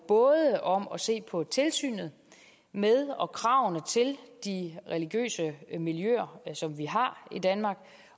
både om at se på tilsynet med og kravene til de religiøse miljøer som vi har i danmark